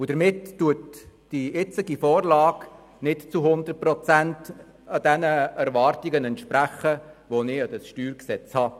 Damit entspricht die jetzige Vorlage nicht zu 100 Prozent den Erwartungen, die ich an dieses StG habe.